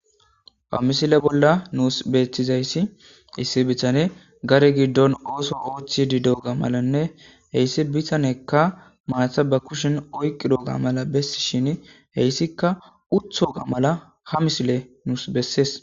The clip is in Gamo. ba misile bolla nuus beeththizayssi issi bichane gare giddon ooso oochchi di doga malanne heyssi bihanekka maatha ba kushin oyqi doga mala bessi shin heyssikka uthoga mala ha misile nuus bessees